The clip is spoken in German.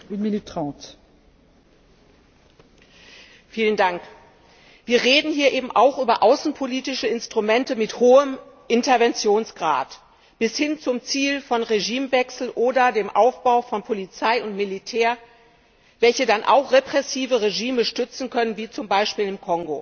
Frau Präsidentin! Wir reden hier eben auch über außenpolitische Instrumente mit hohem Interventionsgrad, bis hin zum Ziel von Regimewechsel oder dem Aufbau von Polizei und Militär, welche dann auch repressive Regime stützen können, wie zum Beispiel im Kongo.